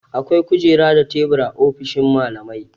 Akwai kujeru da tebura a ofishin mallamai.